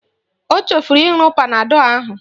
Ọ chefuru ịṅụ panadọl ahu